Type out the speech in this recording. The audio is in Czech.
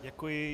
Děkuji.